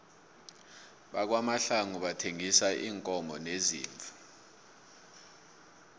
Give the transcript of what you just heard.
kwamahlangu bathengisa iinkomo neziimvu